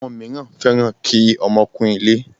Àwọn míràn fẹ́ràn kí ọmọ kún ilé.